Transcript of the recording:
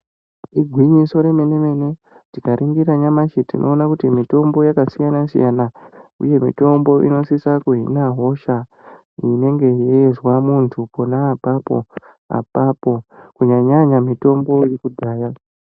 Igwinyiso remenemene tikaningira nyamashi tinoona kuti mitombo yakasiyana siyana inosisa kuhina hosha inenge yeinzwa muntu ponaapapo kunyanya mitombo yekudhaya .